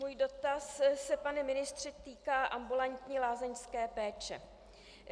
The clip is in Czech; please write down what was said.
Můj dotaz se, pane ministře, týká ambulantní lázeňské péče.